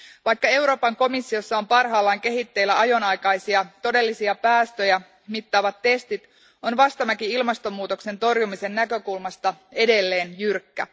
Vaikka Euroopan komissiossa on parhaillaan kehitteillä ajonaikaisia todellisia päästöjä mittaavat testit, on vastamäki ilmastonmuutoksen torjumisen näkökulmasta edelleen jyrkkä.